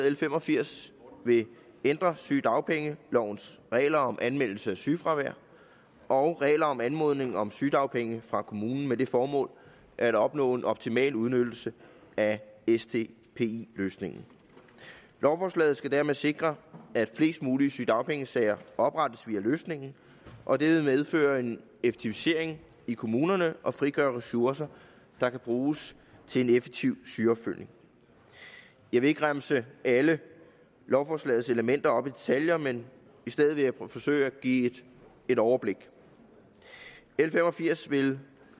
l fem og firs vil ændre sygedagpengelovens regler om anmeldelse af sygefravær og regler om anmodning om sygedagpenge fra kommunen med det formål at opnå en optimal udnyttelse af sdpi løsningen lovforslaget skal dermed sikre at flest mulige sygedagpengesager oprettes via løsningen og det vil medføre en effektivisering i kommunerne og frigøre ressourcer der kan bruges til en effektiv sygeopfølgning jeg vil ikke remse alle lovforslagets elementer op i detaljer men i stedet forsøge at give et overblik l fem og firs vil